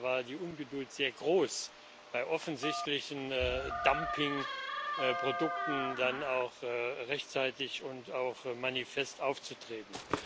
Da war die Ungeduld sehr groß, bei offensichtlichen Dumpingprodukten dann auch rechtzeitig und manifest aufzutreten.